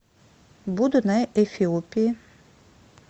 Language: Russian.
буду на эфиопии